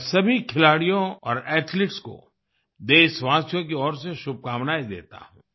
मैं सभी खिलाड़ियों और एथलीट्स को देशवासियों की ओर से शुभकामनाएँ देता हूँ